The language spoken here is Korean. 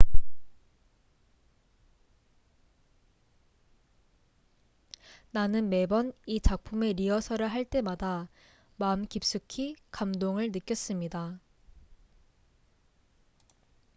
"""나는 매번 이 작품의 리허설을 할 때마다 마음 깊숙이 감동을 느꼈습니다"".